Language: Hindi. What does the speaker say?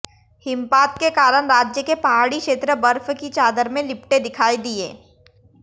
हिमपात के कारण राज्य के पहाडी क्षेत्र बर्फ की चादर में लिपटे दिखाई दिए